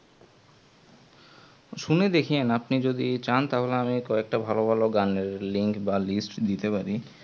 শুনে দেখিয়েন আপনি যদি চান তাহলে কয়েকটা ভালো ভালো গানের link বা list দিতে পারি